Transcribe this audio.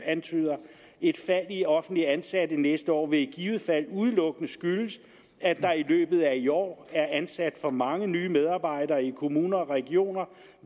antyder et fald i offentligt ansatte næste år vil i givet fald udelukkende skyldes at der i løbet af i år er ansat for mange nye medarbejdere i kommuner og regioner